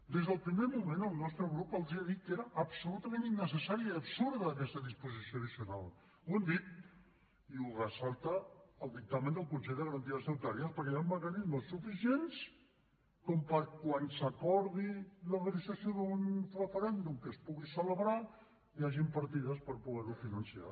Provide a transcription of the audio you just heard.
des del primer moment el nostre grup els ha dit que era absolutament innecessària i absurda aquesta disposició addicional ho hem dit i ho ressalta el dictamen del consell de garanties estatutàries perquè hi han mecanismes suficients com per quan s’acordi la realització d’un referèndum que es pugui celebrar hi hagin partides per poder lo finançar